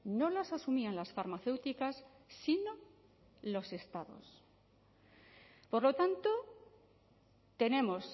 no las asumían las farmacéuticas sino los estados por lo tanto tenemos